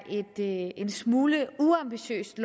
en smule uambitiøst